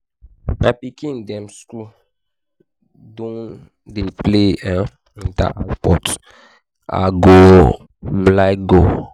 my pikin dem skool don dey play um inter-house sports i go um like go.